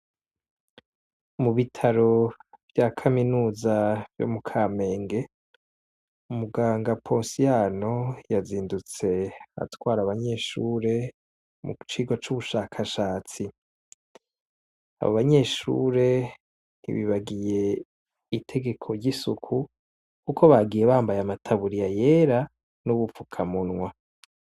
Mu bitaro vya kaminuza yo mu kamenge, muganga ponsiyano yazindutse atwara abanyeshure mu cigwa c'ubushakashatsi. Abo banyeshure ntibagiye itegeko ry'isuku, kuko bagiye bambaye amataburiya yera n'ubufukamunwa.